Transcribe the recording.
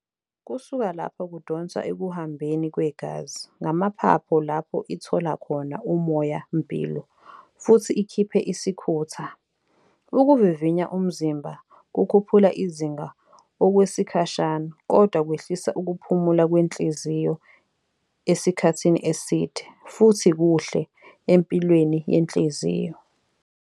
Kusuka lapha kudonswa ekuhambeni kwegazi, ngamaphaphu lapho ithola khona umoya-mpilo futhi ikhiphe isikhutha. Ukuvivinya umzimba kukhuphula izinga okwesikhashana, kodwa kwehlisa ukuphumula kwenhliziyo esikhathini eside, futhi kuhle empilweni yenhliziyo.